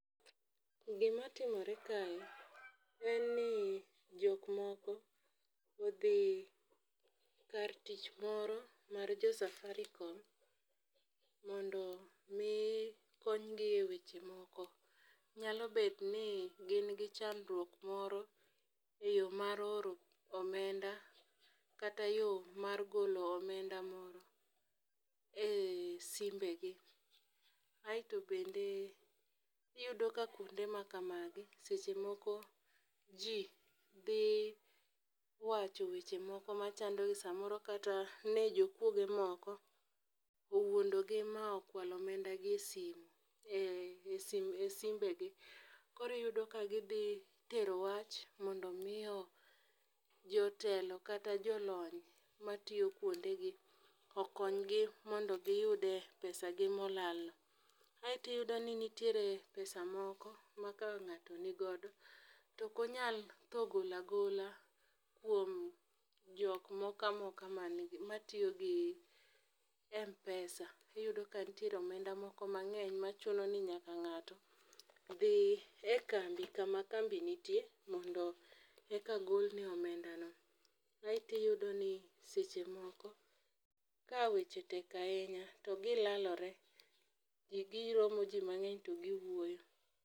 Gima timore kae en ni jok moko odhi kar tich moro mar jo safarikom mondo mi konygi e weche moko . Nyalo bet ni gin gi chandruk moro e yoo mar oro omeda kata yoo mar golo omenda moro e simbe gi. Aeto bende iyudo ka kuonde ma kamagi seche moko jii dhi wacho weche machando samoro kata ne jokuoge moko owuondo gi ma okwalo omenda gi esime esimbegi. Kori yudo ka gidhi tero wach mondo mi jotelo kata jolony matiyo kuondegi okony gi mondo giyude pesa gi molal no. Aeto iyudo ni nitiere pesa moko ma ka ng'ato nigodo tokonyal tho gola gola kuom jok moka moka matiyo gi mpesa . Iyudo ka ntie omenda moko mang'eny machino ni nyaka ngato dhi e kambi kama kambi nitie mondo eka golne omenda no . Aeti yudo ni seche moko ka weche tek ahinya to gilalole jii giromo jii mang'eny to giwuoyo.